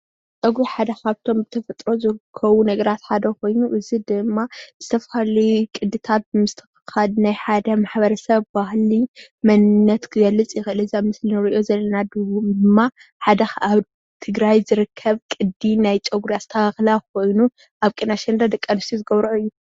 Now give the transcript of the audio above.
ፀጉሪ ካብቶም ብተፈጥሮ ዝርከቡ ነገራት ሓደ ኮይኑ እዚ ድማ ዝተፈላለዩ ቅድታት ምስትክካል ናይ ሓደ ማሕበረ ሰብ ባህሊ መንነት ክገልፅ ይክእል እዩ፡፡ እዚ ኣብ ምስሊ እንሪኦ ዘለና ድማ ሓደ ኣብ ትግራይ ዝርከብ ቅዲ ናይ ፀጉሪ ኣስተካክላ ኮይኑ ኣብ ቅነ ኣሸንዳ ደቂ ኣነስትዮ ዝገብርኦ እዩ፡፡